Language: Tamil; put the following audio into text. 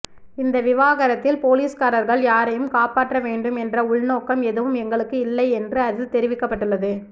இந்த விவகாரத்தில் போலீஸ்காரர்கள் யாரையும் காப்பாற்ற வேண்டும் என்ற உள்நோக்கம் எதுவும் எங்களுக்கு இல்லை என்று அதில் தெரிவிக்கப்பட்டுள்ளது